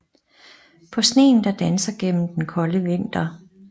På sneen der danser gennem den kolde vinter